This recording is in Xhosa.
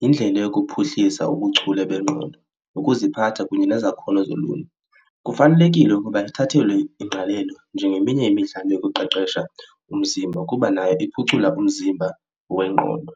yindlela yokuphuhlisa ubuchule bengqondo ukuziphatha kunye nezakhono zoluntu. Kufanelekile ukuba ithathelwe ingqalelo njengeminye yemidlalo yokuqeqesha umzimba kuba nayo iphucula umzimba wengqondo.